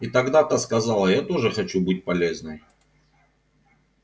и тогда та сказала я тоже хочу быть полезной